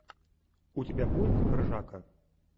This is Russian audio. у тебя будет ржака